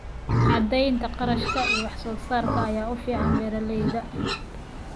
Cadaynta kharashka iyo wax soo saarka ayaa u fiican beeralayda.